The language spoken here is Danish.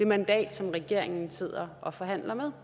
mandat som regeringen sidder og forhandler med